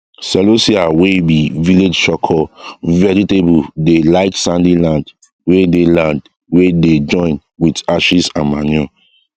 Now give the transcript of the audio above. celosia wey be village soko vegetable dey like sandy land wey dey land wey dey join with ashes and manure